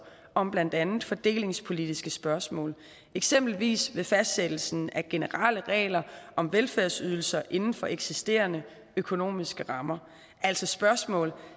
om blandt andet fordelingspolitiske spørgsmål eksempelvis ved fastsættelsen af generelle regler om velfærdsydelser inden for eksisterende økonomiske rammer altså spørgsmål